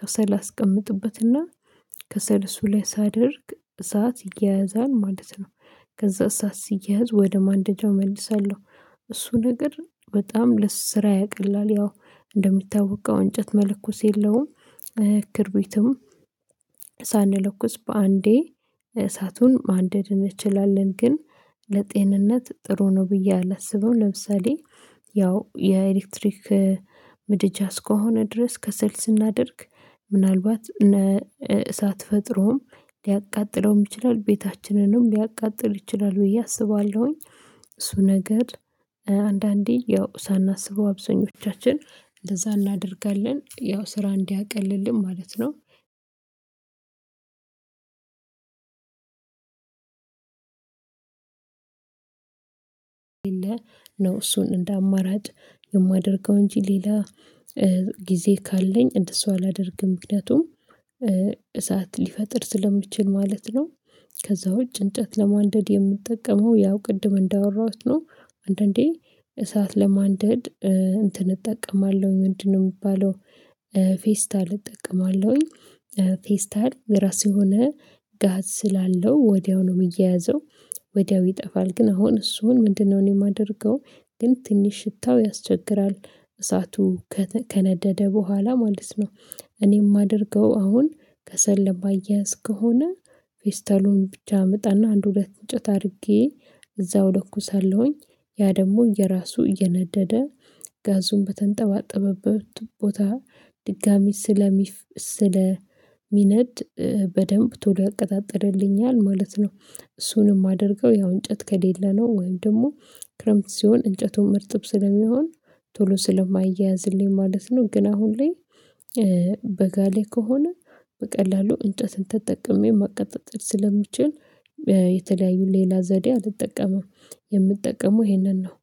ከሰል አስቀምጥበትና ከሰል እሱ ላይ ሳደርግ እሳት ይያያዛል ማለት ነው። ከዛ እሳት ሲያያዝ ወደ ማንደጃው እመልሳለሁ እሱ ነገር በጣም ስራ ያቀላል ያው እንደሚታወቀው እንጨት መለኮስ የለውም። ክብሪትም ሳንለኩስ በአንዴ እሳቱን ማንደድ እንችላለን ግን ለጤንነት ጥሩ ነው ብዬ አላስበም። ለምሳሌ ያው የኤሌክትሪክ ምድጃ እስከሆነ ድረስ ከሰል ስናደርግ ምናልባት እሳት ፈጥሮም ሊያቃጥለውም ይችላል ቤታችንንም ሊያቃጥል ይችላል ብዬ አስባለሁ። እሱ ነገር አንዳንዴ ያው ሳናስበው አብዛኞቻችን እንደዛ እናደርጋለን ያው ስራ እንዲያቀልልን ማለት ነው። ነው እሱን እንደ አማራጭ የማደርገው እንጂ ሌላ ጊዜ ካለኝ እንደሱ አላደርግም ምክንያቱም እሳት ሊፈጥር ስለሚችል ማለት ነው። ከዛ ውጪ እንጨት ለማንደድ የምንጠቀመው ያው ቅድም እንዳወራሁት ነው። አንዳንዴ እሳት ለማንደድ እንትን እጠቀማለሁ ምንድነው የሚባለው ፌስታል እጠቀማለሁኝ። ፌስታል የራሱ የሆነ ጋዝ ስላለው ወዲያው ነው የሚያያዘው ወዲያው ይጠፋል ግን አሁን እሱን ምንድ ነው እኔ የማደርገው ግን ትንሽ ሽታው ያስቸግራል እሳቱ ከነደደ በኋላ ማለት ነው። እኔ የማደርገው አሁን ከሰለ ለማያያዝ ከሆነ ፌስታሉን ብቻ አመጣና አንድ ሁለት እንጨት አድርጌ እዛው እለኩሳለሁ ያ ደግሞ የራሱ እየነደደ ጋዙን በተንጠባጠበበት ቦታ ድጋሚ ስለሚነድ በደንብ ቶሎ ያቀጣጥልልኛል ማለት ነው። እሱን የማድርገው ያው እንጨት ከሌለ ነው ወይም ደግሞ ክረምት ሲሆን እንጨቱም እርጥብ ስለሚሆን ቶሎ ስለማይያያዝልኝ ማለት ነው። ግን አሁን ላይ በጋ ላይ ከሆነ በቀላሉ እንጨትን ተጠቅሜ ማቀጣጠል ስለሚችል የተለያዩ ሌላ ዘዴ አልጠቀምም የምጠቀመው ይሄንን ነው